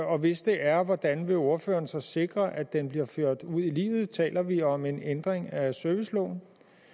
og hvis det er hvordan vil ordføreren så sikre at det bliver ført ud i livet taler vi om en ændring af serviceloven